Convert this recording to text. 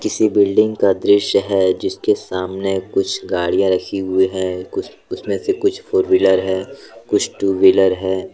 किसी बिल्डिंग का दृश्य है जिसके सामने कुछ गाड़ियां रखी हुई है कुछ उसमें से कुछ फोर व्हीलर है कुछ टू व्हीलर है।